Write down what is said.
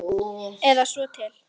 Eða svo til.